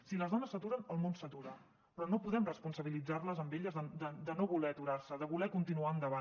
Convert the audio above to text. si les dones s’aturen el món s’atura però no podem responsabilitzar les a elles de no voler aturar se de voler continuar endavant